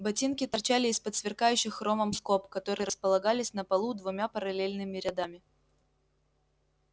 ботинки торчали из-под сверкающих хромом скоб которые располагались на полу двумя параллельными рядами